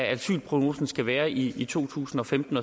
asylprognosen skal være i to tusind og femten